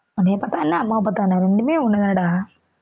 உன்னைய பாத்தா என்ன அம்மாவ பாத்தா என்ன ரெண்டுமே ஒண்ணு தானடா